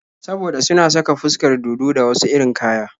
Saboda suna saka fuskar dodo da wasu irin kaya.